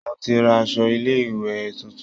Mo ti ra áṣọ ilé ìwé tuntun